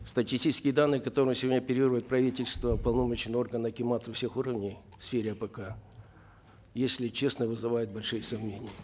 статистические данные которыми сегодня оперирует правительство уполномоченные органы акиматы всех уровней в сфере апк если честно вызывают большие сомнения